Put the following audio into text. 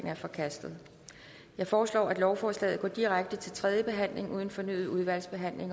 er forkastet jeg foreslår at lovforslaget går direkte til tredje behandling uden fornyet udvalgsbehandling